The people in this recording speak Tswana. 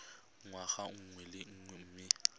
ngwaga mongwe le mongwe mme